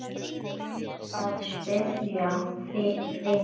Er að spyrja fyrir vin.